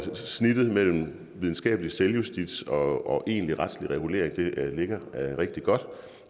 snittet mellem videnskabelig selvjustits og egentlig retslig regulering ligger rigtig godt